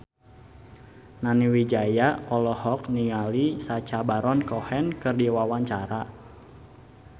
Nani Wijaya olohok ningali Sacha Baron Cohen keur diwawancara